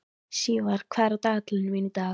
Sívar, hvað er á dagatalinu mínu í dag?